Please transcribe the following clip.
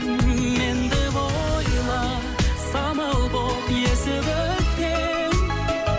мен деп ойла самал болып есіп өткен